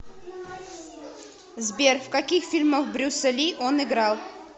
сбер в каких фильмах брюса ли он играл